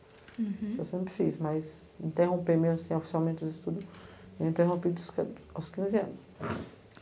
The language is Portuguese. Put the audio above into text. Uhum. Isso eu sempre fiz, mas interromper mesmo oficialmente os estudos eu interrompi aos quinze anos.